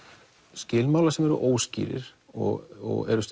skilmálar sem eru óskýrir og eru